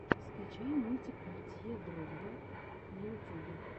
скачай мультик портье дрогба на ютюбе